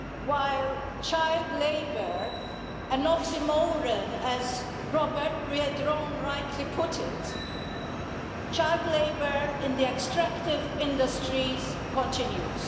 while child labour an oxymoron as Robert Biedroń rightly put it child labour in the extractive industries continues.